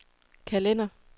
kalender